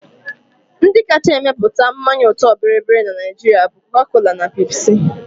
Ndi kacha emepụta mmanya ọtọ bịrịbịrị na Naijiria bụ Coca-Cola na Pepsi